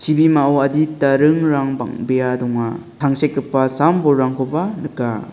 ibimao adita ringrang bang·bea donga tangsekgipa sam-bolrangkoba nika.